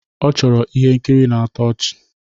Ọ chọrọ ihe nkiri na-atọ ọchị